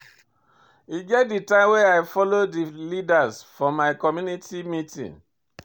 E get di time wey I folo for di leaders for my community meeting.